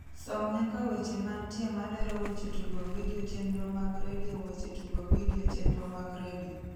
som nyaka weche mantie malero weche tugo vidio chenro mag redio weche tugo vidio chenro mag redio